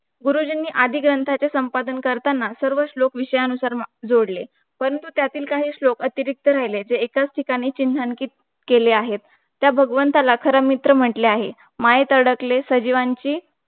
गुरुजींनी आदि ग्रंथाचे संपादन करताना सर्व श्लोक विषयानुसार जोडले परंतु काही श्लोक अतिरिक्त राहिले ते एकाच ठीखानी चिन्हांकित केले आहे त्या भगवंताला खरे मित्र म्हंटले आहे मायेत अडकले सजीवांची